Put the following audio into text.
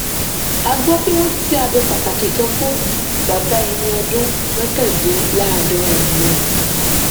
a gbọ pé wọn ṣiṣẹ abẹ pàtàkì kan fún bàbá ẹni ọdún mọkàndínláàádọrin náà